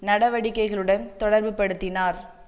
நடவடிக்கைகளுடன் தொடர்புபடுத்தினார்